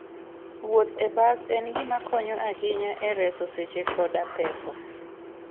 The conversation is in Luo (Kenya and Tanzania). Wuoth e bas en gima konyo ahinya e reso seche koda pesa.